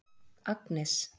Agnes